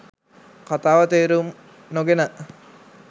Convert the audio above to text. කතාව තේරුම් නොගෙන